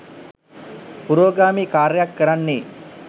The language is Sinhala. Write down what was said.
පුරෝගාමී කාර්යයක් කරන්නේ